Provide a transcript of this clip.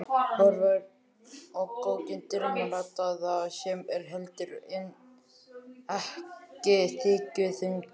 Horfir á kokkinn dimmraddaða sem er heldur en ekki þykkjuþungur.